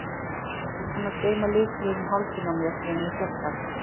Ég er búin að geyma lykilinn um hálsinn á mér síðan ég fékk hann.